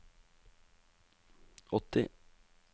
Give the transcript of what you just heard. åtti